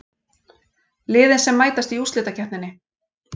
Liðin sem mætast í úrslitakeppninni